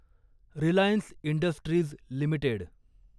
Reliance Industries limited